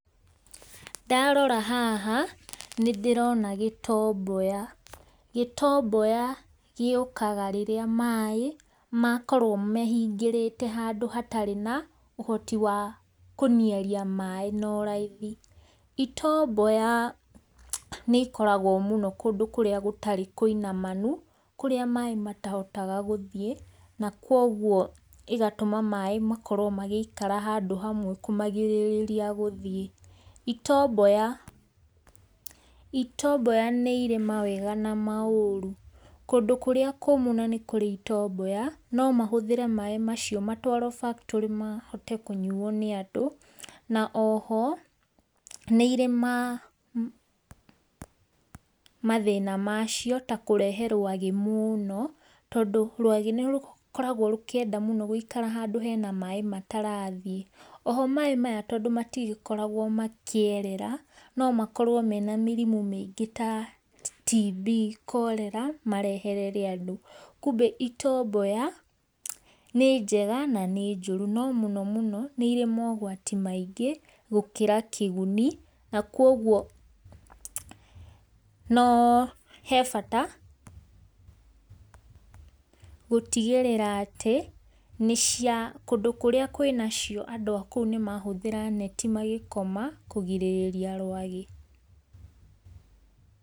Ndarora haha nĩndĩrona gĩtomboya, gĩtomboya gĩũkaga rĩrĩa maĩ makorwo mehingĩrĩte handũ hatarĩ na ũhoti wa kũnĩarĩa maĩ na ũraĩthĩ. Itomboya nĩ ikoragwo mũno kũndũ kũrĩa gũtarĩ kũinamanũ, kũrĩa maĩ matahotaga gũthiĩ na kwogwo ĩgatũma maĩ makorwo magĩikara handũ hamwe kũmagĩrĩrĩa gũthiĩ. Itomboya, itomboya nĩ ĩre mawega na maũru, kũndũ kũrĩa kũmu na nĩ kũrĩ itomboya no mahũthĩre maĩ macĩo matwaro factory mahote kũnyuo nĩ andũ na oho nĩ irĩ mathĩna macio ta kũrehe rwagĩ mũno, tondũ rwage nĩrũkoragwo rũkĩenda mũno gũikara handũ hena maĩ matarathie. Oho maĩ maya tondũ matĩgĩkoragwo makĩerera no makorwo mena mĩrimũ mĩingĩ taTB, cholera, mareherere andũ. Kũmbe itomboya nĩ jega na nĩ njuru, no mũno mũno nĩ ire maũgwatĩ maingĩ gũkĩra kĩgũni na kuogwo no he bata gũtigĩrĩra atĩ, nĩ cia, kũndũ kũrĩa kwĩnacio andũ a kũu nĩmahũthĩra neti magikoma kũgĩrĩrĩa rwagĩ.